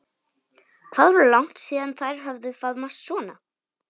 Hvað var langt síðan þær höfðu faðmast svona?